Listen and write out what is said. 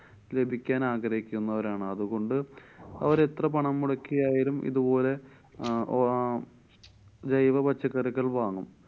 ലഭിക്കാനാഗ്രഹിക്കുന്നവരാണ് അതുകൊണ്ട് അവരെത്ര പണം മുടക്കിയായാലും ഇതുപോലെ അഹ് ഓ~ ജൈവ പച്ചക്കറികള്‍ വാങ്ങും.